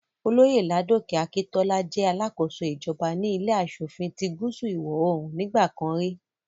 Olóyè Ládòkè Akintọ́lá jẹ́ alákóso ìjọba ní ilé aṣòfin ti gúúsù ìwọ̀-oòrùn nígbà kan rí